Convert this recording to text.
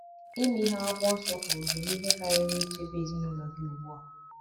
Ime ihe akwụkwo nsọ kwuru ga - eme ihe karịrị ichebe ezinụlọ gị ugbu a.